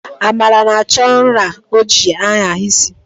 Amara na-achọ nra o ji agha isi